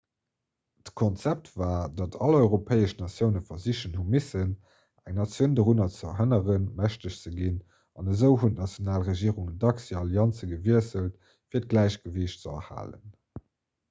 d'konzept war datt all europäesch natioune versichen hu missen eng natioun dorun ze hënneren mächteg ze ginn an esou hunn d'national regierungen dacks hir allianze gewiesselt fir d'gläichgewiicht ze erhalen